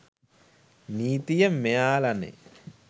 නීතිය මෙයලානේ